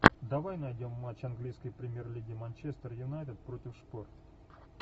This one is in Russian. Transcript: давай найдем матч английской премьер лиги манчестер юнайтед против шпор